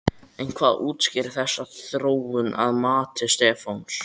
En hvað útskýrir þessa þróun að mati Stefáns?